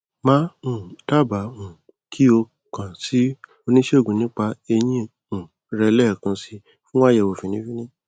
màá um dábàá um kí o kà sí oníṣègùn nípa eyín um rẹ lẹẹkan si fún àyẹwò fínní fínní